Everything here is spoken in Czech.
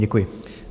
Děkuji.